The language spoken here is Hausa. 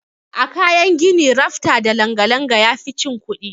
A kayan gini rafta da langa-langa yafi cin kuɗi.